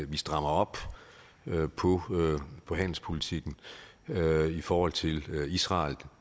vi strammer op på på handelspolitikken i forhold til israel og